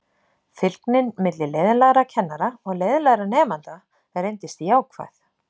Fylgnin milli leiðinlegra kennara og leiðinlegra nemenda reyndist jákvæð.